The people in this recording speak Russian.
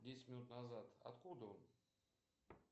десять минут назад откуда он